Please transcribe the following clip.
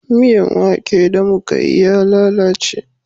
Miyan wake da mu Ka yi ya lalace